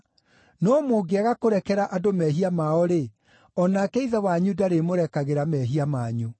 No mũngĩaga kũrekera andũ mehia mao-rĩ, o nake Ithe wanyu ndarĩmũrekagĩra mehia manyu.